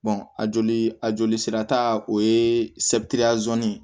a joli a joli sira ta o ye ye